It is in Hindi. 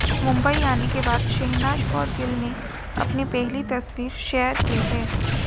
मुंबई आने के बाद शहनाज कौर गिल ने अपनी पहली तस्वीर शेयर की है